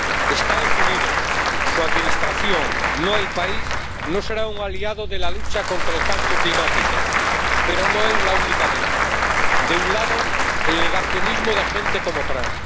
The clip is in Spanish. Los Estados Unidos, su administración ―no el país― no serán un aliado de la lucha contra el cambio climático, pero no es esta la única amenaza. De un lado, el negacionismo de gente como Trump.